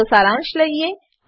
ચાલો સારાંશ લઈએ